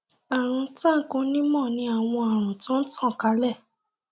arun tank onímọ ní àwọn àrùn tó n tan kálẹ